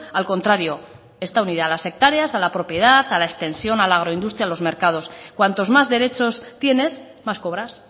al contrario está unida a las hectáreas a la propiedad a la extensión a la agroindustria a los mercados cuantos más derechos tienes más cobras